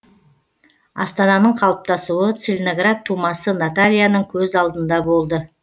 астананың қалыптасуы целиноград тумасы натальяның көз алдында болды